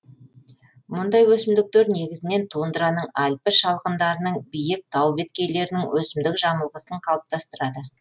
мұндай өсімдіктер негізінен тундраның альпі шалғындарының биік тау беткейлерінің өсімдік жамылғысын қалыптастырады